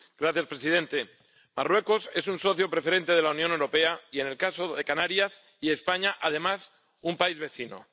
Señor presidente, Marruecos es un socio preferente de la Unión Europea y en el caso de Canarias y España además un país vecino.